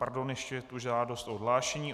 Pardon, ještě je tu žádost o odhlášení.